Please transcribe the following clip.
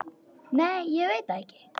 Nei ég veit það ekki.